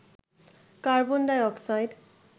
carbon die oxide